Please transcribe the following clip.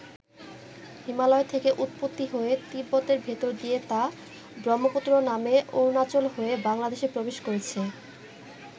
হিমালয় থেকে উৎপত্তি হয়ে তিব্বতের ভেতর দিয়ে তা ব্রহ্মপুত্র নামে অরুণাচল হয়ে বাংলাদেশে প্রবেশ করেছে।